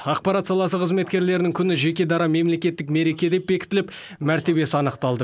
ақпарат саласы қызметкерлерінің күні жеке дара мемлекеттік мереке деп бекітіліп мәртебесі анықталды